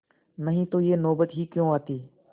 नहीं तो यह नौबत ही क्यों आती